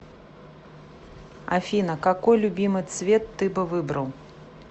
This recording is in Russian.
афина какой любимый цвет ты бы выбрал